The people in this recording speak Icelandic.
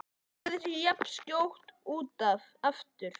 Lagði sig jafnskjótt út af aftur.